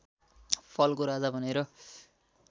फलको राजा भनेर